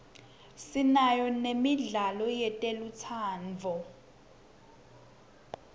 sinayo nemidlalo yetelutsando